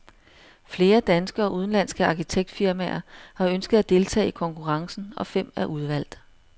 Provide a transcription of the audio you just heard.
Flere danske og udenlandske arkitektfirmaer har ønsket at deltage i konkurrencen, og fem er udvalgt.